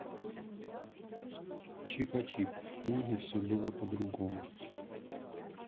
чипачип в книге все было по другому